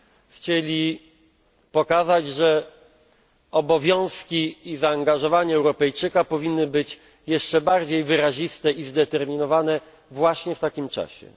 chcieli pokazać, że obowiązki i zaangażowanie Europejczyka powinny być jeszcze bardziej wyraziste i zdeterminowane właśnie w takim czasie.